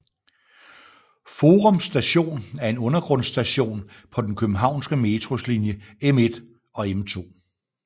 Forum Station er en undergrundsstation på den københavnske Metros linje M1 og M2